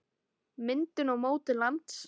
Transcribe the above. Myndun og mótun lands